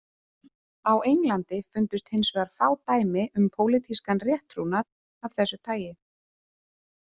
Á Englandi fundust hins vegar fá dæmi um pólitískan rétttrúnað af þessu tagi.